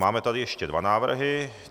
Máme tady ještě dva návrhy.